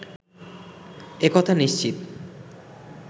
একথা নিশ্চিত